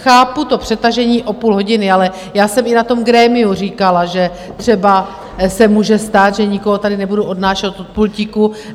Chápu to přetažení o půl hodiny, ale já jsem i na tom grémiu říkala, že se třeba může stát, že nikoho tady nebudu odnášet od pultíku.